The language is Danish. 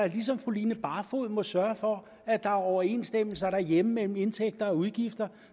ligesom fru line barfod må sørge for at der er overensstemmelse derhjemme mellem indtægter og udgifter